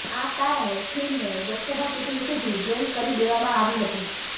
આ કારણે ફિલ્મને લોકસભા ચૂંટણી સુધી બૅન કરી દેવામાં આવી હતી